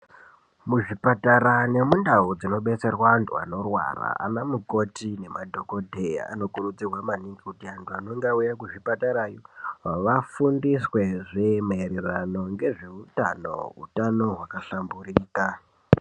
Muzvipatara nemundau dzinodetserwa antu anorwara ana mukoti nema dhokodheya ano kurudzirwa maningi kuti vantu vanenge vauya kuzvipatara yo vafundiswe zvema ererano ngezvehutano utano hwaka hlamburika.